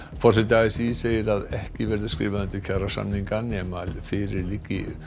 forseti a s í segir að ekki verði skrifað undir kjarasamninga nema fyrir liggi